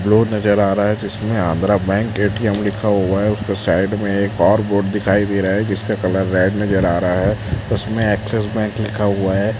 Road नजर आ रहा है जिसमें आंध्रा बैंक ए_टी_एम लिखा हुआ है उसका साइड में एक और बोर्ड दिखाई दे रहा है जिसका कलर रेड नजर आ रहा है उसमें एक्सिस बैंक लिखा हुआ है।